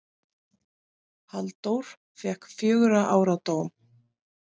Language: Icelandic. Halldór fékk fjögurra ára dóm.